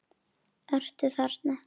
Ertu þarna?